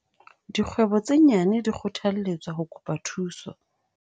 Dikgwebo tse nyane di kgothalletswa ho kopa thuso